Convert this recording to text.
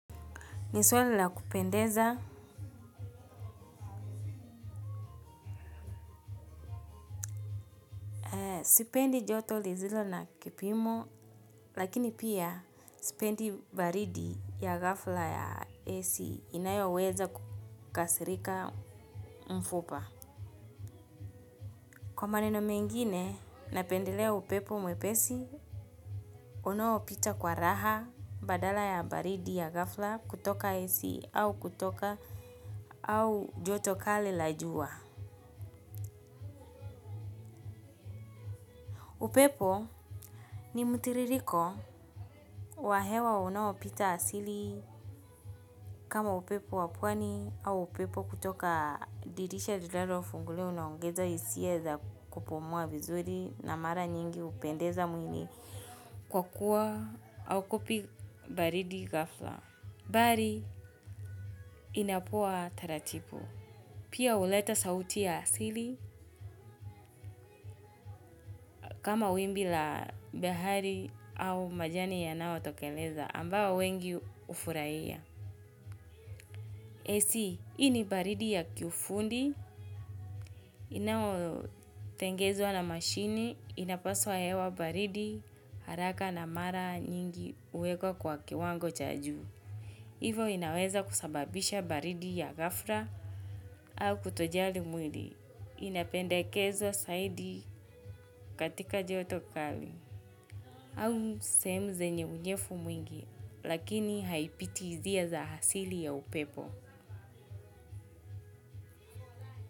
Ni swali la kupendeza, sipendi joto lizilo na kipimo, lakini pia sipendi baridi ya gafla ya ac inayoweza kukasirika mfupa. Kwa maneno mengine, napendelea upepo mwepesi, unaopita kwa raha badala ya baridi ya gafla kutoka ac au kutoka au joto kali la jua. Upepo ni mtiririko wa hewa unaopita asili kama upepo wa pwani au upepo kutoka dirisha lilalo funguliwa unaongeza isia za kupumua vizuri na mara nyingi upendeza mwili kwa kuwa aukupi baridi gafla. Bari inapoa taratipu. Pia uleta sauti ya asili kama wimbi la bahari au majani yanao tokeleza ambao wengi ufuraiya. AC, ini baridi ya kiufundi. Inao tengezwa na mashini, inapaswa hewa baridi haraka na mara nyingi uwekwa kwa kiwango cha juu. Hivo inaweza kusababisha baridi ya gafra au kutojali mwili. Inapendekezwa saidi katika joto kali. Au sehemu zenye unyefu mwingi, lakini haipitizia za hasili ya upepo.